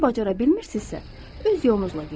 Bunu bacara bilmirsinizsə, öz yolunuzla gedin.